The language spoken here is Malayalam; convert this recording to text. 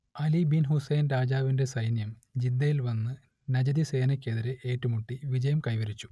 അലി ബിൻ ഹുസൈൻ രാജാവിന്റെ സൈന്യം ജിദ്ദയിൽ വന്നു നജദി സേനക്കെതിരെ ഏറ്റു മുട്ടി വിജയം കൈവരിച്ചു